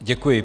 Děkuji.